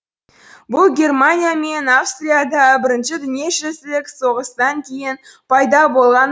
бұл германия мен австрияда бірінші дүниежүзілік соғыстан кейін пайда болған